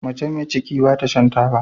Mace me ciki bata Shan taba